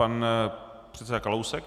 Pan předseda Kalousek.